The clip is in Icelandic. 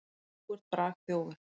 Þú ert bragþjófur.